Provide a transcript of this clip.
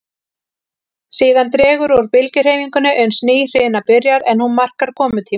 Síðan dregur úr bylgjuhreyfingunni uns ný hrina byrjar, en hún markar komutíma